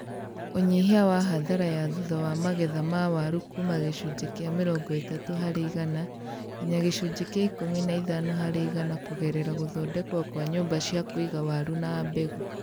Ũnyihia wa hathara ya thutha wa magetha ma waru kuuma gĩcunjĩ kĩa mĩrongo ĩtatũ harĩ igana nginya gĩcunjĩ kĩa ikũmi na ithano harĩ igana kũgerera gũthondekwo kwa nyũmba cia kũiga waru na mbegũ